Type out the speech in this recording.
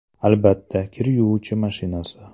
Albatta, kir yuvish mashinasi!